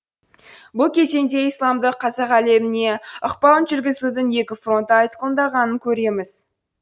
бұл кезеңде исламдық қазақ әлеміне ықпалын жүргізудің екі фронты айқындалғанын көреміз